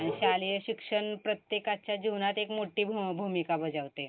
शालेय शिक्षण प्रत्येकाच्या जीवनात एक मोठी भू, भूमिका बजावते.